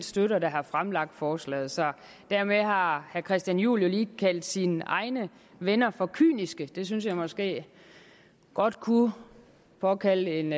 støtter der har fremsat forslaget så dermed har herre christian juhl lige kaldt sine egne venner for kyniske det synes jeg måske godt kunne påkalde en